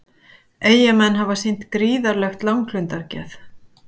Eyjamenn hafa sýnt gríðarlegt langlundargeð